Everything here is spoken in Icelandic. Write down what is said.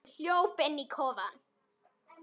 Hún hljóp inn í kofann.